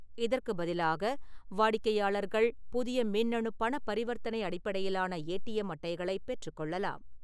இதற்குப் பதிலாக, வாடிக்கையாளர்கள் புதிய மின்னணு பணப் பரிவர்த்தனை அடிப்படையிலான ஏடிஎம் அட்டைகளைப் பெற்றுக்கொள்ளலாம்.